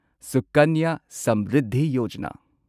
ꯁꯨꯀꯟꯌ ꯁꯃ꯭ꯔꯤꯗꯙꯤ ꯌꯣꯖꯥꯅꯥ